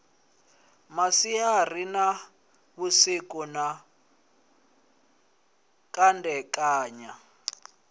masiari na vhusiku na kandekanya